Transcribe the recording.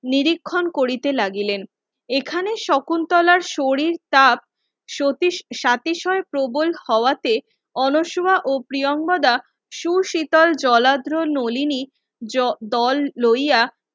নিরীক্ষণ করিতে লাগিলেন এখানে শকুন্তলার শরীর তাপ সতীশ সাতিশয়ে প্রবল হওয়াতে অনোসোমা ও প্রীঙ্গদা সুশীতল জলদ্রো নলিনী জো দোল লইয়া